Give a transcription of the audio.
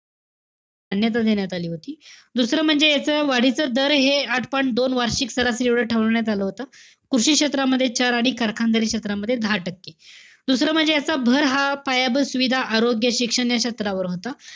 मान्यता देण्यात आली होती. दुसरं म्हणजे याच वाढीचं दर हे आठ point दोन वार्षिक स्तर असं एवढं ठरवण्यात आलं होतं. कृषी क्षेत्रामध्ये चार आणि कारखानदारी क्षेत्रामध्ये दहा टक्के. दुसरं म्हणजे याच, भर हा पायाभूत सुविधा, आरोग्य, शिक्षण या क्षेत्रावर होता.